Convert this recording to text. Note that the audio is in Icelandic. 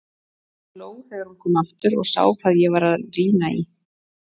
Hún hló þegar hún kom aftur og sá hvað ég var að rýna í.